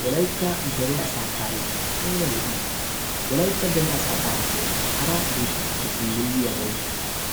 Wolaytta dere asaa tarikee ayba lo"ii! wolaytta dere asaa tarikkee hara biittatuppe dummayiyaabay